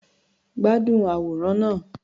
Gbádùn àwòrán náà.